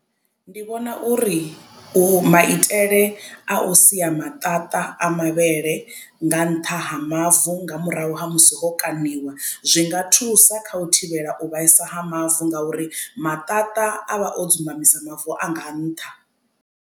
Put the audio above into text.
Ndi vhona uri u maitele a u sia maṱaṱa a mavhele nga nṱha ha mavu nga murahu ha musi o kaṋiwa zwinga thusa kha u thivhela u vhaisa ha mavu nga uri maṱaṱa a vha o dzumbamisa mavu anga nṱha.